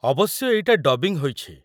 ଅବଶ୍ୟ ଏଇଟା ଡବିଂ ହୋଇଛି।